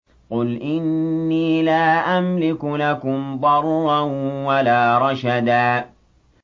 قُلْ إِنِّي لَا أَمْلِكُ لَكُمْ ضَرًّا وَلَا رَشَدًا